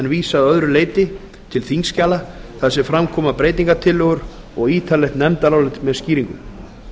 að öðru leyti til þingskjala þar sem fram koma átt og ítarlegt nefndarálit með skýringum